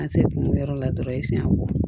An se kun yɔrɔ la dɔrɔn i senɲɛ bɔ